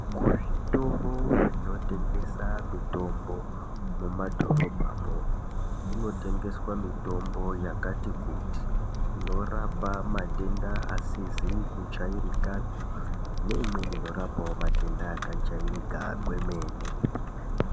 Kuzvitoro zvinotengesa mitombo mumadhorobhamwo kunotengeswa mitombo yakati kuti inorapa matenda asizi kujairikapi neimweni inorapawo matenda akabaajarika kwemene.